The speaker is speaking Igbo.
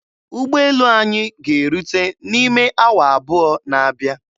Ụgbọelu anyị ga-erute n'ime awa abụọ na-abịa.